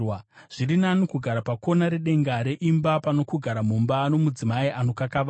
Zviri nani kugara pakona redenga reimba pano kugara mumba nomudzimai anokakavara.